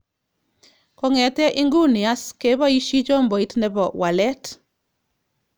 Kongete inguni as kebaishi chomboit nebo wallet.